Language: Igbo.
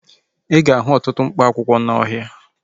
Ị ga-ahụ ọtụtụ mkpa akwụkwọ n'ọhịa